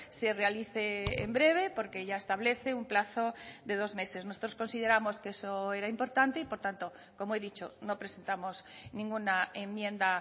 se realice en breve porque ya establece un plazo de dos meses nosotros consideramos que eso era importante y por tanto como he dicho no presentamos ninguna enmienda